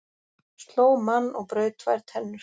Sló mann og braut tvær tennur